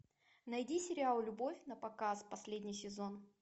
найди сериал любовь напоказ последний сезон